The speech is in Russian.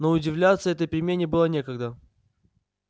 но удивляться этой перемене было некогда